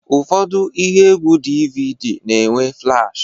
Ụfọdụ ihe egwu DVD na-enwe flash